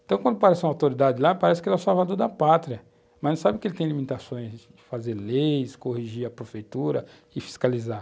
Então, quando aparece uma autoridade lá, parece que ela é salvadora da pátria, mas não sabe que ele tem limitações de fazer leis, corrigir a prefeitura e fiscalizar.